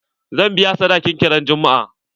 Zan biya sadakin kin ran juma'a.